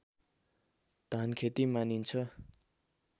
धानखेती मानिन्छ